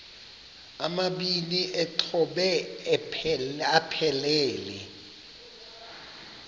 amabini exhobe aphelela